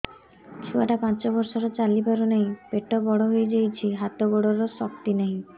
ଛୁଆଟା ପାଞ୍ଚ ବର୍ଷର ଚାଲି ପାରୁନାହଁ ପେଟ ବଡ ହୋଇ ଯାଉଛି ହାତ ଗୋଡ଼ର ଶକ୍ତି ନାହିଁ